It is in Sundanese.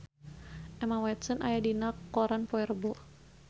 Emma Watson aya dina koran poe Rebo